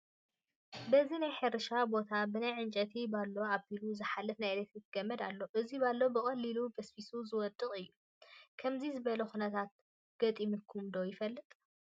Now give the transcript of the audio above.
በዚ ናይ ሕርሻ ቦታ ብናይ ዕንጨይቲ ባሎ ኣቢሉ ዝሓለፈ ናይ ኤለክትሪክ ገመድ ኣሎ፡፡ እዚ ባሎ ብቐሊሉ በስቢሱ ዝወድቕ እዩ፡፡ ከምዚ ዝበለ ኩነታት ገጢሙኩም ዶ ይፈልጥ?